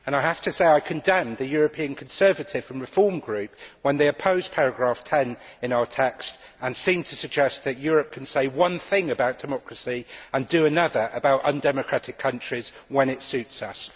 I have to say that I condemn the European Conservative and Reform Group when they oppose paragraph 10 in our text and seem to suggest that Europe can say one thing about democracy and do another about undemocratic countries when it suits us.